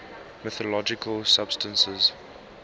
mythological substances